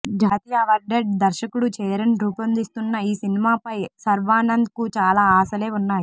జాతీయ అవార్డెడ్ దర్శకుడు చేరన్ రూపొందిస్తున్న ఈ సినిమా పై శర్వానంద్ కు చాలా ఆశలే ఉన్నాయి